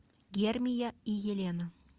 гермия и елена